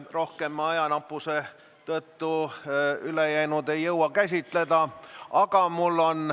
Rohkem küsimusi me ajanappuse tõttu käsitleda ei jõua.